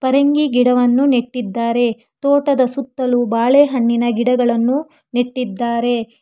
ಪರಂಗಿ ಗಿಡವನ್ನು ನೆಟ್ಟಿದ್ದಾರೆ ತೋಟದ ಸುತ್ತಲೂ ಬಾಳೆಹಣ್ಣಿನ ಗಿಡಗಳನ್ನು ನೆಟ್ಟಿದ್ದಾರೆ.